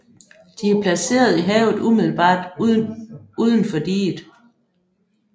De er placeret i havet umiddelbart unden for diget